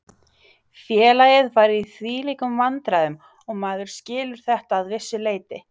Félagið var í þvílíkum vandræðum og maður skilur þetta að vissu leyti.